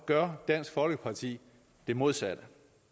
gør dansk folkeparti det modsatte